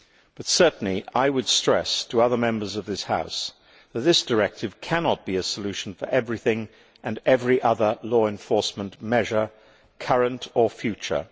But certainly I would stress to other Members of this House that this directive cannot be a solution for everything and every other law enforcement measure, current or future.